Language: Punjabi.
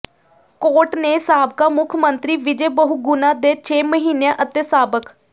ਕੋਰਟ ਨੇ ਸਾਬਕਾ ਮੁੱਖ ਮੰਤਰੀ ਵਿਜੇ ਬਹੁਗੁਣਾ ਦੇ ਛੇ ਮਹੀਨਿਆਂ ਅਤੇ ਸਾਬਕ